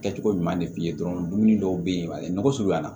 Kɛcogo ɲuman de f'i ye dɔrɔn dumuni dɔw be yen nɔgɔ surunyana